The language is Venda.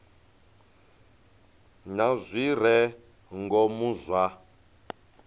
na zwi re ngomu zwa